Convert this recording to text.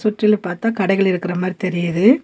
சுற்றிலு பாத்தா கடைகள் இருக்கற மாரி தெரியிது.